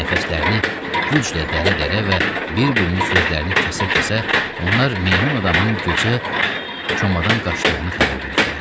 Nəfəslərini güclə dərə-dərə və bir-birinin sözlərini kəsə-kəsə onlar meymun adamın gecə komadan qaçdığını xəbər verdilər.